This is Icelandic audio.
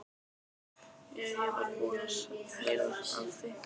Jú, ég var búinn að heyra af því.